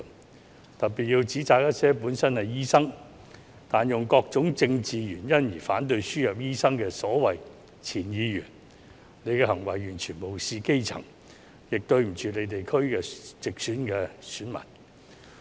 我特別要指責一些本身是醫生，但以各種政治原因而反對輸入醫生的所謂前議員，他們的行為完全無視基層，亦對不起其地區直選的選民。